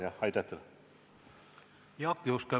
Jaak Juske, palun!